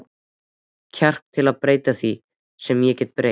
kjark til að breyta því, sem ég get breytt.